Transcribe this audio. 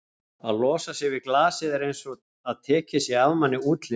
að losa sig við glasið er einsog að tekinn sé af manni útlimur.